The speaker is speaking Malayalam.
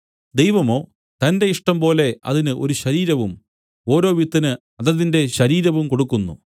ദൈവമോ തന്റെ ഇഷ്ടംപോലെ അതിന് ഒരു ശരീരവും ഓരോ വിത്തിന് അതതിന്റെ ശരീരവും കൊടുക്കുന്നു